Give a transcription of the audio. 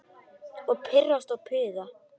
Og pirrast og puða.